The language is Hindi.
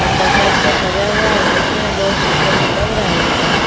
और डब्बा जैसा सजा हुआ है और देख रहे हैं बहुत सुंदर भी लग रहा है ये पार्क ।